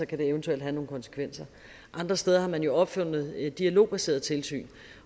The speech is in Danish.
kan det eventuelt få nogle konsekvenser andre steder har man opfundet dialogbaseret tilsyn